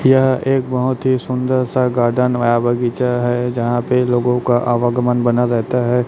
यह एक बहोत ही सुंदर सा गार्डन या बगीचा है जहां पे लोगों का आवागमन बना रहता है।